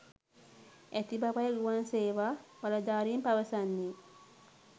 ඇති බවයි ගුවන් සේවා බලධාරීන් පවසන්නේ.